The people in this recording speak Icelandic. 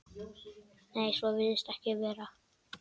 Nei, svo virðist ekki vera.